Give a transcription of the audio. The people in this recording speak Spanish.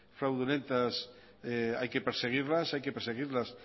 fraudulentas hay que perseguirlas hay que perseguirlas